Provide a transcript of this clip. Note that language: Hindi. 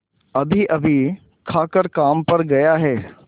अभीअभी खाकर काम पर गया है